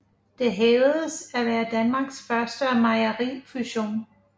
Det hævdes at være Danmarks første mejerifusion